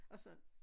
Og sådan